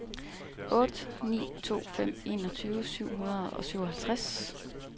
otte ni to fem enogtyve syv hundrede og syvoghalvtreds